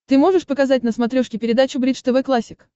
ты можешь показать на смотрешке передачу бридж тв классик